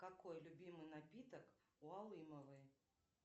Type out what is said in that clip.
какой любимый напиток у алымовой